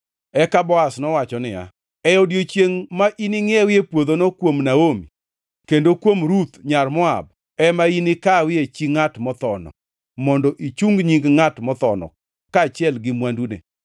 Eka Boaz nowacho niya, “E odiechiengʼ ma iningʼiewie puodhono kuom Naomi kendo kuom Ruth nyar Moab, ema inikawie chi ngʼat mothono, mondo ichung nying ngʼat mothono kaachiel gi mwandune.”